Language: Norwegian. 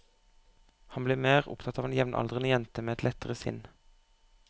Han blir mer opptatt av en jevnaldrende jente med et lettere sinn.